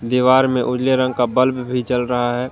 दीवार में उजले रंग का बल्ब भी जल रहा है।